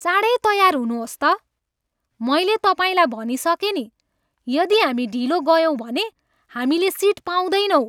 चाँडै तयार हुनुहोस् त! मैले तपाईँलाई भनिसकेँ नि, यदि हामी ढिलो गयौँ भने हामीले सिट पाउँदैनौँ।